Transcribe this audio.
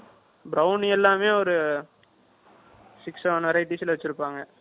Brownies எல்லாமே ஒரு, six seven Variety ல வச்சிருப்பாங்க.